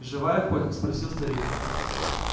живая хоть спросил старик